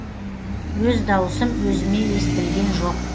өз дауысым өзіме естілген жоқ